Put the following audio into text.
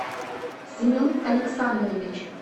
семен александрович